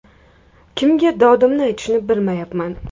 Kimga dodimni aytishni bilmayapman”.